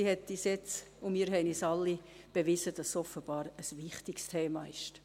Sie hat uns – und wir haben uns allen – bewiesen, dass es offenbar ein wichtiges Thema ist.